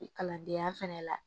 Kalandenya fɛnɛ la